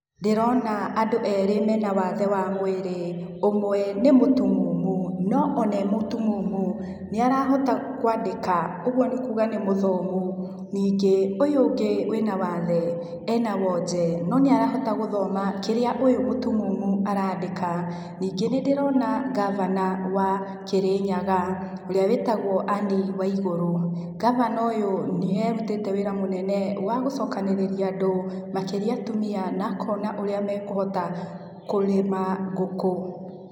Ndĩrona andũ erĩ mena wathe wa mwĩrĩ, ũmwe nĩ mũtumumu no e mũtumumu nĩ arahota kwandĩka ũguo nĩ kuuga nĩ mũthomu. Ningĩ ũyũ ũngĩ wĩna wathe ena wonje no ni arahota gũthoma kĩrĩa ũyũ mũtumumu arandĩka ningĩ nĩ ndĩrona ngabana wa Kĩrĩnyaga ũrĩa wĩtagwo Ann Waigũrũ. Ngabana ũyũ nĩarutĩte wĩra mũnene wa gũcokanĩrĩa andũ makĩria atumia na akona ũrĩa mekũhota kũrĩma ngũkũ.